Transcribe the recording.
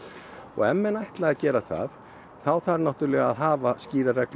ef menn ætla að gera það þá þarf náttúrlega að hafa skýrar reglur